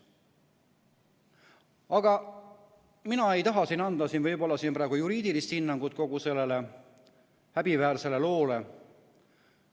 Aga mina ei taha siin anda praegu juriidilist hinnangut kogu sellele häbiväärsele loole.